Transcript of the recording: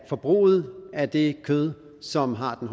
forbruget af det kød som har den